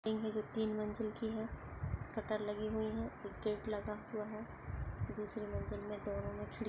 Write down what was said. जो तीन मंजिल की है शटर लगी हुई है | एक गेट लगा हुआ है दूसरी मंजिल में दोनों में खिड़ --